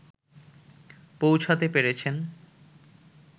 পৌঁছাতে পেরেছেন